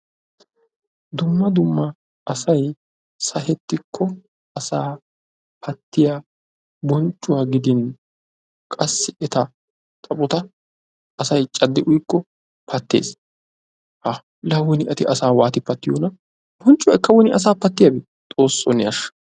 Dumma dumma asay sahettikko asa pattiya bonccuwaa giddin qassi eta xaphphotta asay caddi uyikko pattes, Ha, laa woni etti asa waatti pattiyoonna? Bonccoyikka woni asa patti? Xoosso ne ashsha.